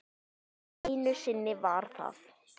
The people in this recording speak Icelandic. Einu sinni var það